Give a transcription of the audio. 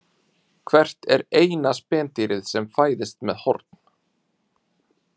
Hvert er eina spendýrið sem fæðist með horn?